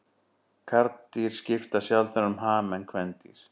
Karldýr skipta sjaldnar um ham en kvendýr.